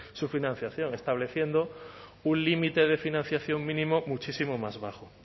su financiación estableciendo un límite de financiación mínimo muchísimo más bajo